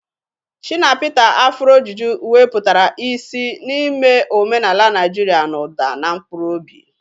Shina Peter's Afuro Juju weputara isi n'ime omenaala Naijiria n'ụda na mkpụrụ obi.